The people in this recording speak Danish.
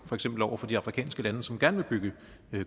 eksempel over for de afrikanske lande som gerne vil bygge